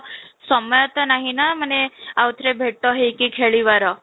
ସମୟ ତ ନାହଁ ନା ମାନେ ଆଉ ଥରେ ଭେଟ ହେଇକି ଖେଳିବାର